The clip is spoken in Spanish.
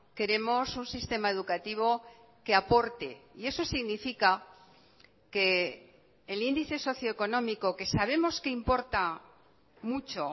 queremos un sistema educativo que aporte y eso significa que el índice socioeconómico que sabemos que importa mucho